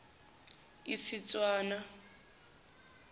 istswana